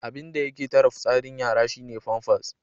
Abinda yake tare fitsarin yara shi ne famfas.